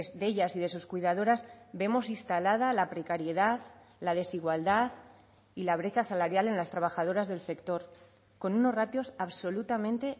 de ellas y de sus cuidadoras vemos instalada la precariedad la desigualdad y la brecha salarial en las trabajadoras del sector con unos ratios absolutamente